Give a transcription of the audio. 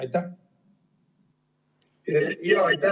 Aitäh!